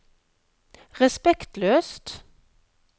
respektløst